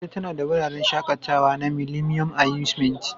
Abuja tana da wuraren shakatawa na Millennium Amusement